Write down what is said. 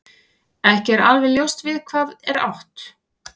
Ekki er alveg ljóst við hvað er átt.